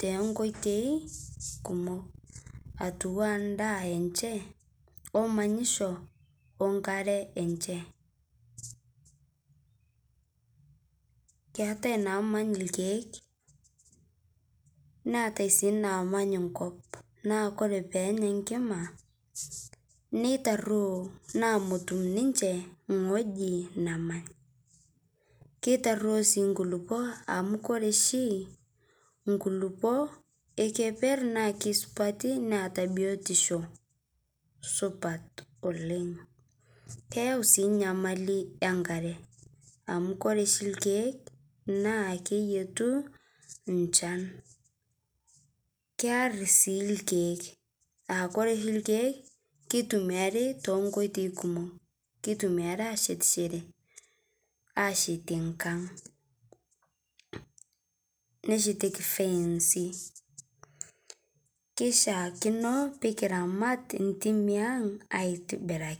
tenkweitei kumok , atuu endaa enche omanyisho , onkare enche .Keetae namany irkiek , neetae sii namany kop naa ore peenya enkima nintaruo namut ninche ingweji nemany , kitaruo sii nkulupuok amu ore oshi nkulupuok ekeper naa kisupati neeta biotisho supat oleng , keyau sii nyamali enkare amu ore oshi irkiek naa keyietu nchan, kear sii irkiek aa ore oshi irkiek kitumiari tonkoitoi kumok ,kitumiare ashetishore ,ashetie nkang ,neshetieki fensi , kishaakino pikiramat ntimi ang aitibiraki .